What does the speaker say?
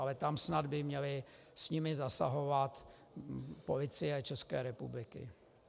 Ale tam snad by měla s nimi zasahovat Policie České republiky.